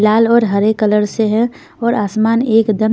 लाल और हरे कलर से है और आसमान एकदम--